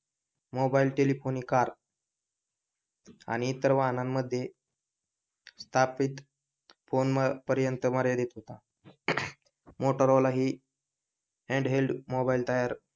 mobile telephony car आणि इतर वाहनांमध्ये स्थापित फोन पर्यंत मर्यादित होता मोटोरोला ही हॅन्ड हेल्ड मोबाइल टायर